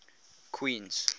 queens